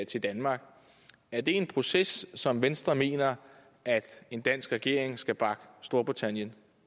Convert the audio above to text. til danmark er det en proces som venstre mener at en dansk regering skal bakke storbritannien